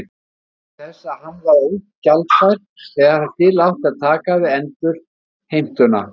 vegna þess að hann var ógjaldfær þegar til átti að taka við endurheimtuna.